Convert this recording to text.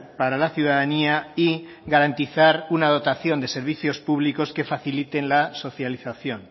para la ciudadanía y garantizar una dotación de servicios públicos que faciliten la socialización